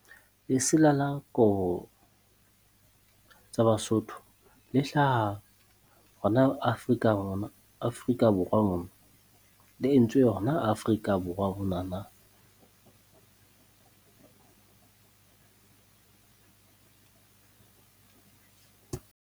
Lesela la kobo tsa Basotho le hlaha hona Afrika Afrika Borwa mo. Le entswe hona Afrika Borwa monana.